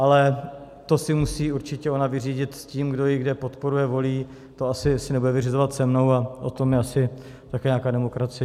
Ale to si musí určitě ona vyřídit s tím, kdo ji kde podporuje, volí, to asi si nebude vyřizovat se mnou, a o tom je asi také nějaká demokracie.